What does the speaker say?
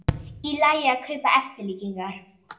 Í lagi að kaupa eftirlíkingar